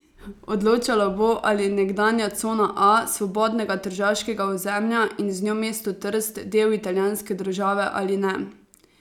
Odločalo bo, ali je nekdanja Cona A Svobodnega tržaškega ozemlja in z njo mesto Trst, del italijanske države ali ne.